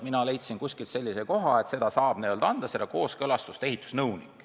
Mina leidsin kuskilt sellise koha, et selle kooskõlastuse saab anda ehitusnõunik.